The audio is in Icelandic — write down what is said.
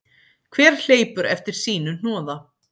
Hver hleypur eftir sínu hnoða.